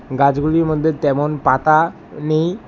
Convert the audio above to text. গাছগুলির মধ্যে তেমন পাতা নেই।